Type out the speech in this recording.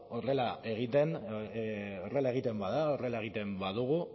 horrela egiten bada horrela egiten badugu